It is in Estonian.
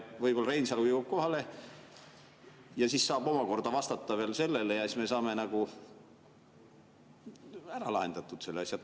Võib-olla Reinsalu jõuab ka kohale ja siis ta saab omakorda vastata veel sellele ja siis me saame ära lahendatud selle asja.